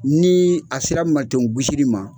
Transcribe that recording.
Nii a sera maton gosiri ma